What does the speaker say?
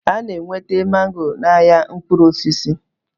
Ana enweta mango na ahịa mkpụrụ osisi